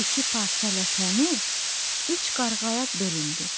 İki parça ləpəni üç qarğaya bölündü.